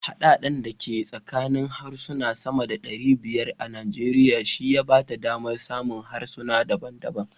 Haɗe-haɗen da ke tsakanin harsuna sama da ɗari bayar a Najeriya shi ya ba ta damar samun harsuna daban daban.